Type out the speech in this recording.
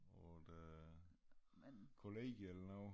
På et øh kollegie eller noget